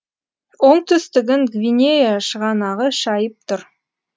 оңтүстігін гвинея шығанағы шайып тұр